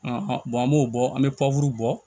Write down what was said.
An an b'o bɔ an bɛ bɔ